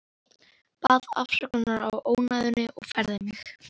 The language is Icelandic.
Baðst afsökunar á ónæðinu og færði mig.